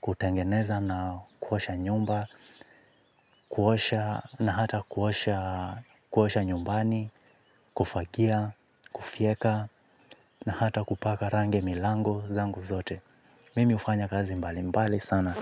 kutengeneza na kuosha nyumba. Kuosha na hata kuosha nyumbani, kufagia, kufieka. Na hata kupaka rangi milango zangu zote. Mimi ufanya kazi mbali mbali sana.